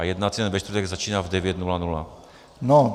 A jednací den ve čtvrtek začíná v 9.00 hodin.